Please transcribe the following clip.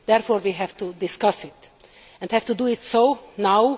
Therefore, we have to discuss it and have to do so now.